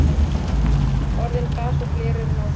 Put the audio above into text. Orðin glas og gler eru náskyld.